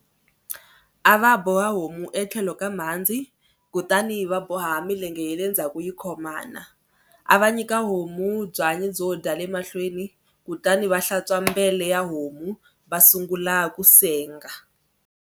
A va boha homu etlhelo ka mhandzi kutani va boha milenge ya le ndzhaku yi khomana. A va nyika homu byanyi byo dya le mahlweni kutani va hlantswa mbele ya homu va sungula ku senga.